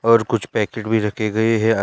और कुछ पैकेट भी रखे गए हैं अन --